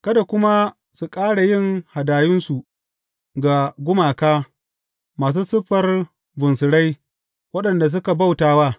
Kada kuma su ƙara yin hadayunsu ga gumaka masu siffar bunsurai waɗanda suka bauta wa.